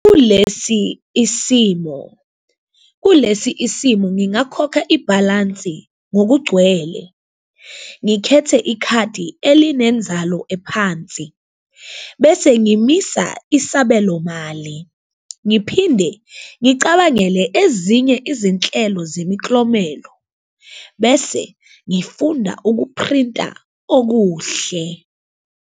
Kulesi isimo kulesi isimo, ngingakhokha ibhalansi ngokugcwele, ngikhethe ikhadi elinenzalo ephansi, bese ngimisa isabelo mali. Ngiphinde ngicabangele ezinye izinhlelo zemiklomelo, bese ngifunda ukuphrinta okuhle.